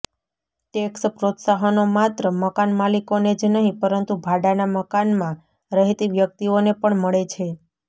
tax પ્રોત્સાહનો માત્ર મકાન માલિકોને જ નહીં પરંતુ ભાડાંનાં મકાનમાં રહેતી વ્યક્તિઓને પણ મળે છે